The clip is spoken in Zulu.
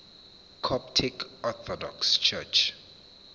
coptic orthodox church